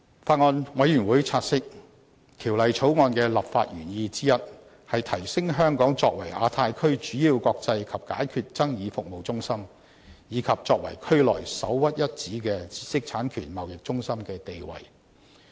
法案委員會察悉，《條例草案》的立法原意之一，是提升香港作為亞太區主要國際法律及解決爭議服務中心，以及作為區內首屈一指的知識產權貿易中心的地位。